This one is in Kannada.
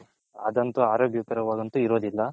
ಅದಂತು ಅರೋಗ್ಯ ಕರವದಂತು ಇರೋದಿಲ್ಲ.